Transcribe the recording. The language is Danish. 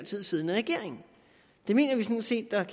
tid siddende regering det mener vi sådan set at